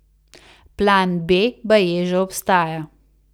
Plan B baje že obstaja.